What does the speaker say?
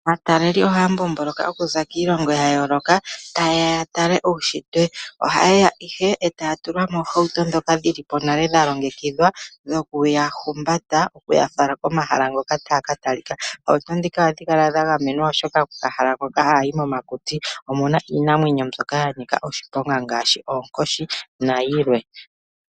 Aataleli ohaya mbomboloka okuza kiilongo yayooloka ta yeya yatale uushitwe. Ohayeya ihe etaya tulwa moohauto dhoka dhilipo nale dhalongekidhwa ndhokuya humbata okuya fala pomahala ngoka taya katalika. Oohauto dhika ohadhi kala dhagamenwa oshoka momahala ngoka ha yayi momakuti omuna iinamwenyo mbyoka yanika oshiponga ngaashi oonkoshi nayilwe.